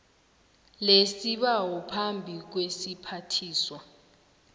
lesibawo phambi kwesiphathiswa